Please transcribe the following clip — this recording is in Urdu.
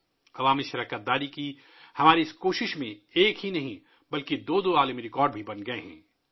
عوامی شرکت کی ہماری اس کوشش میں نہ صرف ایک بلکہ دو دو عالمی ریکارڈ بھی بن چکے ہیں